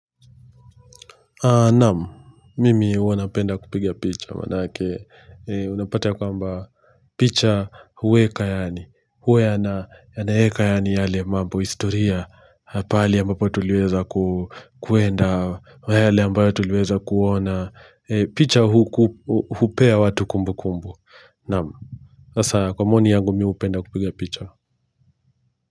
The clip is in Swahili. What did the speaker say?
Naamu, mimi huwa napenda kupigia picha, manake unapata kwamba picha huweka yani, huwa yanaweka yani yale mambo historia, pali ambapo tuluweza kuenda, yale ambayo tuluweza kuona, picha hupea watu kumbukumbu, naamu, sasa kwa maoni yangu mimi hupenda kupigia picha.